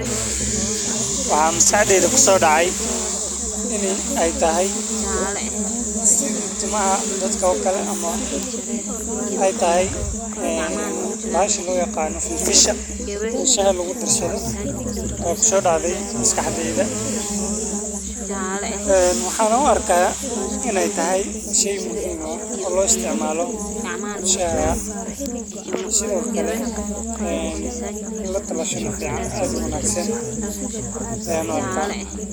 Waxaa maskaxdeyda kusodacaya in sithi timaha dadka oo kale ama ee tahay fil fisha ama filfisha shaha lagu darsatho, waxan u arka shey fican oo shaha lagu darsatho oo cafimaad ufican.